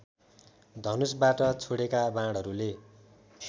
धनुषबाट छोडेका बाणहरूले